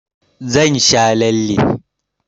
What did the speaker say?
Zan sha lalle.